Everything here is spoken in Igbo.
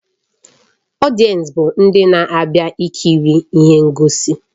Ọdiensi bụ ndị na-abịa ikiri ihe ngosi